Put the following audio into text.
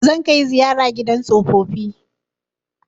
Zan kai ziyara gidan tsofaffi